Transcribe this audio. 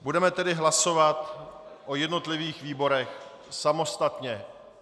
Budeme tedy hlasovat o jednotlivých výborech samostatně.